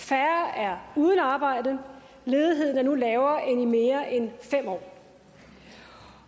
færre er uden arbejde ledigheden er nu lavere end i mere end fem år